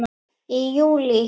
Í júlí